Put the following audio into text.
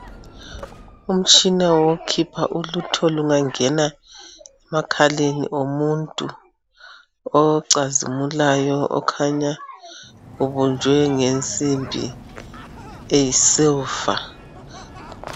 Umshina wokukhipha ulutho lungangena emakhaleni omuntu .Ocazimulayo okhanya ubunjwe ngensimbi eyisilva.